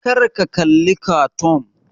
Kar ka kalli kartoon!